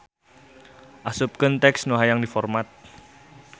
Asupkeun teks nu hayang diformat.